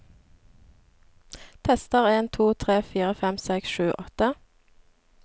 Tester en to tre fire fem seks sju åtte